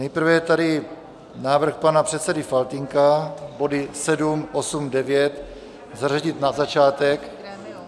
Nejprve je tady návrh pana předsedy Faltýnka body 7, 8, 9 zařadit na začátek.